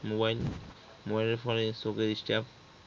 mobile mobile এর ফলে চোখে disturb